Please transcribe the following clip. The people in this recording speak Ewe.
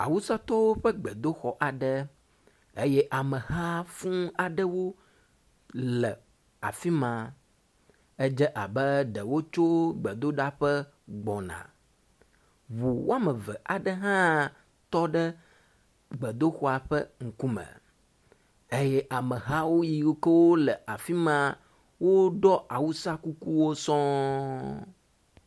Awusatɔwo ƒe gbedoxɔ aɖe eye ame ha fũu aɖewo le afi ma. Edze abe ɖe wotso gbedoɖaƒe gbɔna. Ŋu woame eve aɖe hã tɔ ɖe gbedoxɔa ƒe ŋkume eye ameha yiwo ke le afi ma woɖɔ awusakukuwo sɔŋ.